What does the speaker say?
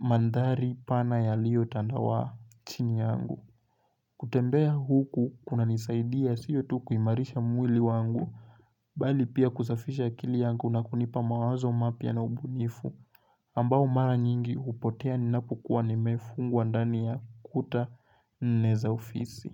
mandhari pana yaliyotandawa chini yangu. Kutembea huku kunanisaidia siyo tu kuimarisha mwili wangu bali pia kusafisha akili yangu na kunipa mawazo mapya na ubunifu ambao mara nyingi upotea ninapokuwa nimefungwa ndani kuta nne za ofisi.